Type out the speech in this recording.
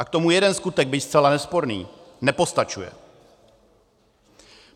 A k tomu jeden skutek, byť zcela nesporný, nepostačuje.